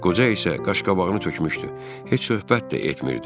Qoca isə qaş-qabağını tökmüşdü, heç söhbət də etmirdi.